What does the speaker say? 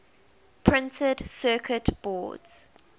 printed circuit boards